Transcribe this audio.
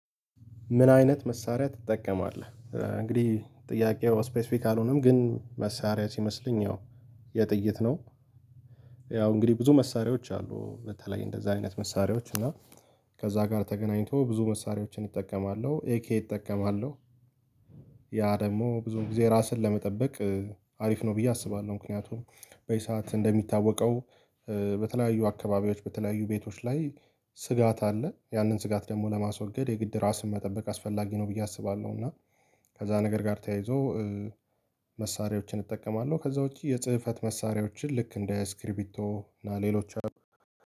ምን አይነት መሳሪያ ትጠቀማለህ እንግዲህ ጥያቄው ስፔሲፊክ አልሆነም ግን መሳሪያ ሲመስለኝ ያው የጥይት ነው፤። ያው እንግዲህ ብዙ መሳሪያዎች አሉ በተለይ እንደዛ አይነት መሳሪያዎች እና ከዛ ጋር ተገናኝቶ ብዙ መሳሪያዎችን እጠቀማለሁ፤ ኤኬ እጠቀማለሁ። ያ ደግሞ ብዙ ጊዜ ራስን ለመጠበቅ አሪፍ ነው ብዬ አስባለሁ፤። ምክንያቱም በዚህ ሰዓት እንደሚታወቀው በተለያዩ አካባቢዎች በተለያዩ ቤቶች ላይ ስጋት አለ ያንን ስጋት ደግሞ ለማስወገድ የግድ ራስን መጠበቅ አስፈላጊ ነው ብዬ አስባለሁ። እና ከዛ ነገር ጋር ተያይዞ መሳሪያዎችን እጠቀማለሁ፤። ከዛ ውጪ የጽህፈት መሳሪያዎችን ልክ እንደ ስክሪቢቶ እና ሌሎች